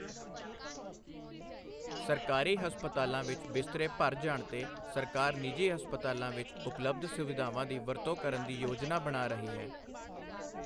ਸਰਕਾਰੀ ਹਸਪਤਾਲਾਂ ਵਿੱਚ ਬਿਸਤਰੇ ਭਰ ਜਾਣ ਤੇ ਸਰਕਾਰ ਨਿਜੀ ਹਸਪਤਾਲਾਂ ਵਿੱਚ ਉਪਲਭਧ ਸੁਵਿਧਾਵਾਂ ਦੀ ਵਰਤੋਂ ਕਰਨ ਦੀ ਯੋਜਨਾ ਬਣਾ ਰਹੀ ਹੈ।